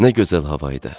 Nə gözəl hava idi.